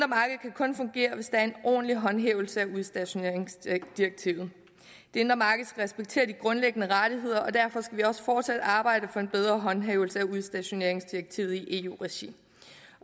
kun fungere hvis der er en ordentlig håndhævelse af udstationeringsdirektivet det indre marked skal respektere de grundlæggende rettigheder og derfor skal vi også fortsat arbejde for en bedre håndhævelse af udstationeringsdirektivet i eu regi